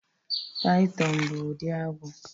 Python bụ ụdị agwọ